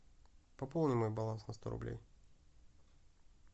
пополни мой баланс на сто рублей